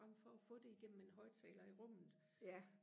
frem for og få det i gennem en højtaler i rummet